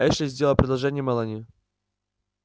эшли сделал предложение мелани